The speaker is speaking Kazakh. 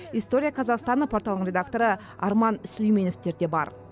история казахстана порталының редакторы арман сүлейменовтер де бар